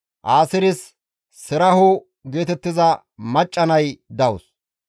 Aaseeres Seraho geetettiza macca nay dawus.